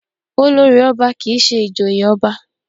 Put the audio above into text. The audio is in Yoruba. Olórì ọba kì í ṣe ìjòyè ọba